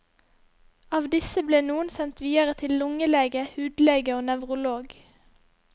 Av disse ble noen sendt videre til lungelege, hudlege og nevrolog.